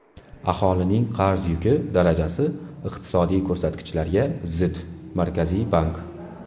Aholining qarz yuki darajasi iqtisodiy ko‘rsatkichlarga zid Markaziy bank.